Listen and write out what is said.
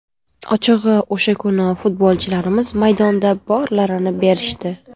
Ochig‘i o‘sha kuni futbolchilarimiz maydonda borlarini berishdi.